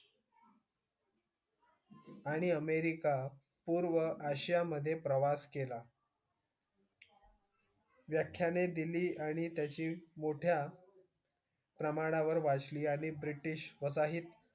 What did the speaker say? आणि अमेरिका, पूर्व आशियामधे प्रवास केला. व्याख्याने दिली आणि त्याची मोठ्या प्रमाणावर वाचली आणि ब्रिटिश वसाहतीत,